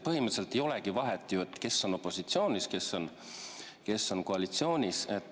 Põhimõtteliselt ei olegi vahet, kes on opositsioonis ja kes on koalitsioonis.